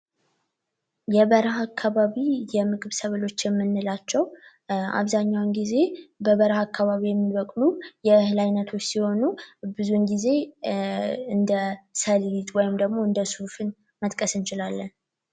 የበረሃ አካባቢ የምግብ ሰብሎች የምንላቸው አብዛኛውን ጊዜ በበረሃ አካባቢ የሚበቅሉ የእህል አይነቶች ሲሆኑ ብዙ ግዜ እንደ ሰሊጥ ወይም ደግሞ እንደ ሱፍን መጥቀስ እንችላለን።